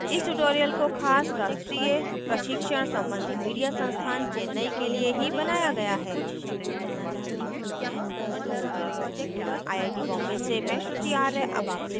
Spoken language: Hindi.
इस ट्यूटोरियल को खास राष्ट्रीय प्रशिक्षण सम्बन्धी मीडिया संस्थान चेन्नई के लिए ही बनाया गया है